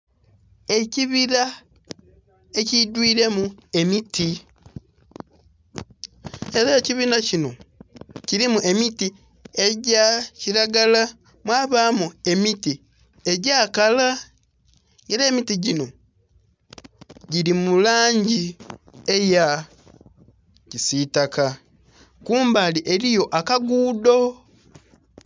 Ekibila ekidhwire mu emiti era ekibila kinho kilimu emiti egya kilagala mwabamu emiti egya kala era emiti ginho gili mulangi eya kisitaka kumbali eriyo akagudho.